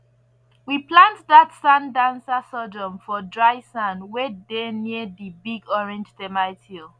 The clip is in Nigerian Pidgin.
we plant dat sand dancer sorghum for dry ground wey dey near di big orange termite hill